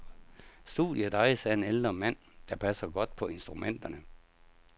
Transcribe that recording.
Studiet ejes af en ældre mand, der passer godt på instrumenterne.